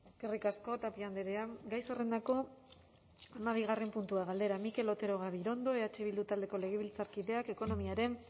eskerrik asko tapia andrea gai zerrendako hamabigarren puntua galdera mikel otero gabirondo eh bildu taldeko legebiltzarkideak ekonomiaren